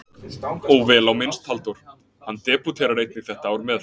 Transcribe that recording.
Og vel á minnst Halldór, hann debúterar einnig þetta ár með